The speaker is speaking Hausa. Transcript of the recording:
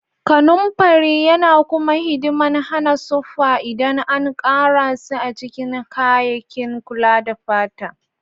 Kanumfari yana kuma hidiman hana suffa ldan an Kara si a cikin kayakin kula da fata.